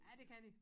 Ja det kan de